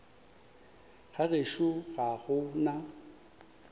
ga gešo ga go na